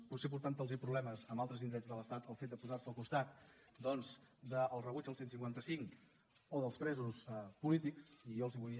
potser portant los problemes en altres indrets de l’estat el fet de posar se al costat doncs del rebuig al cent i cinquanta cinc o dels presos polítics i jo els hi vull